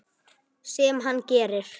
Sem hann gerir.